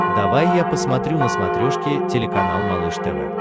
давай я посмотрю на смотрешке телеканал малыш тв